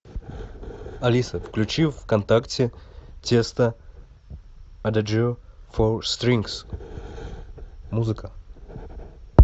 алиса включи вконтакте тиесто адажио фо стрингс музыка